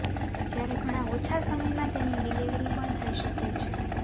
જયારે ઘણા ઓછા સમયમાં તેની ડિલિવરી પણ થઇ શકે છે